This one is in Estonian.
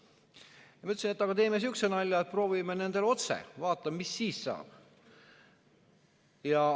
Ma ütlesin, et teeme sihukese nalja, et proovime nendega otse, vaatame, mis siis saab.